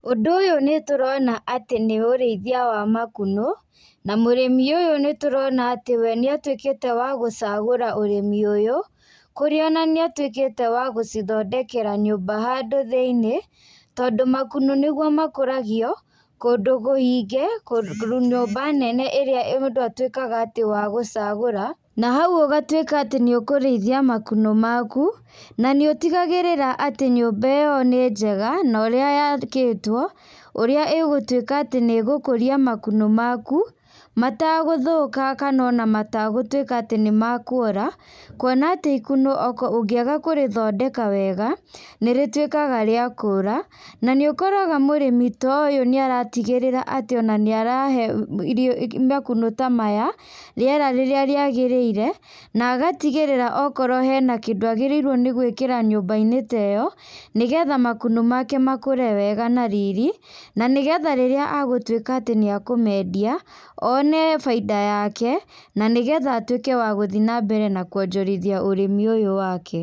Ũndũ ũyũ nĩtũrona atĩ nĩũrĩithia wa makunũ, na mũrĩmi ũyũ nĩtũrona atĩ we nĩatuĩkĩte wa gũcagũra ũrĩmi ũyũ, kũrĩa ona nĩatuĩkĩte wa gũcithondekera nyũmba handũ thĩinĩ, tondũ makunũ nĩguo makũragio, kũndũ gũingĩ, kũndũ nyũmba nene ĩrĩa mũndũ atuĩkaga atĩ wa gũcagũra, na hau ũgatuĩka atĩ nĩũkũrĩithia makunũ maku, na nĩũtigagĩrĩra atĩ nyũmba ĩyo nĩ njega, na ũrĩa yakĩtwo, ũrĩa ĩgũtuĩka atĩ nĩgũkũria makunũ maku, matagũthũka kana ona matagũtuĩka atĩ nĩmakuora, kuona atĩ ikũnũ ũngĩaga kũrĩthondeka wega, nĩrĩtuĩkaga rĩa kũra, na nĩũkoraga mũrĩmi ta ũyũ nĩaratigĩrĩra atĩ ona nĩarahe irio makunũ ta maya, rĩera rĩrĩa rĩagĩrĩire, na agatigĩrĩra okorwo hena kindũ agĩrĩirwo nĩ gwĩkĩra nyũmbainĩ ta ĩyo nĩgetha makunũ make makũre wega na riri, na nĩgetha rĩrĩa agũtuĩka nĩa kũmendia, one bainda yake, na nĩgetha atuĩke wa gũthiĩ nambere na kuonjorithia ũrĩmi ũyũ wake.